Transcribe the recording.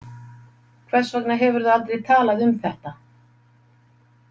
Hvers vegna hefurðu aldrei talað um þetta?